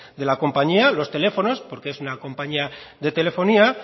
de la compañía los teléfonos porque es una compañía de telefonía